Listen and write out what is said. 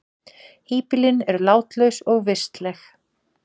Híbýlin eru látlaus og vistleg.